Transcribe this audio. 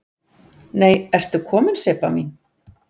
Nei ertu komin Sibba mín!